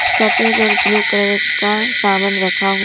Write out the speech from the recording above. सफेद और blue colour का सामान रखा--